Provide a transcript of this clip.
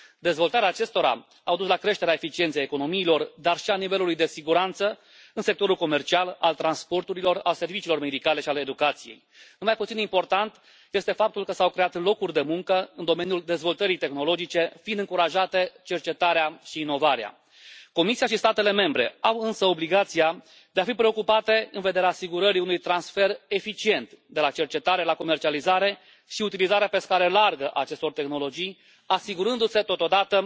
Dezvoltarea acestora a dus la creșterea eficienței economiilor, dar și a nivelului de siguranță în sectorul comercial, al transporturilor, al serviciilor medicale și al educației. Nu mai puțin important este faptul că s au creat locuri de muncă în domeniul dezvoltării tehnologice, fiind încurajate cercetarea și inovarea. Comisia și statele membre au însă obligația de a fi preocupate în vederea asigurării unui transfer eficient de la cercetare, la comercializarea și utilizarea pe scară largă a acestor tehnologii, asigurându se totodată